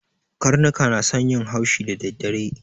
Karnuka na son yin haushi da dadare